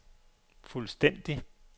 fuldstændig